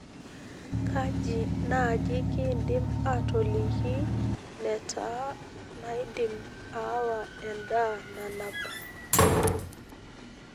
kajii naaji kiidim atoliki netaa naidim aawa endaa nanap